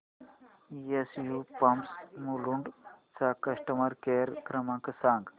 SU pumps Mulund चा customer care क्रमांक सांगा